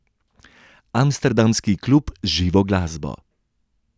Amsterdamski klub z živo glasbo.